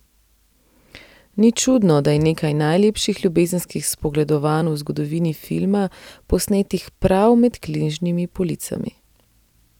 Ni čudno, da je nekaj najlepših ljubezenskih spogledovanj v zgodovini filma posnetih prav med knjižnimi policami.